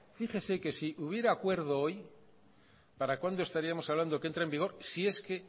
fíjese que si hubiera acuerdo hoy para cuándo estaríamos hablando que entre en vigor si es que